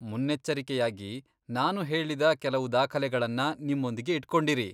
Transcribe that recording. ಮುನ್ನೆಚ್ಚರಿಕೆಯಾಗಿ, ನಾನು ಹೇಳಿದ ಕೆಲವು ದಾಖಲೆಗಳನ್ನ ನಿಮ್ಮೊಂದಿಗೆ ಇಟ್ಕೊಂಡಿರಿ.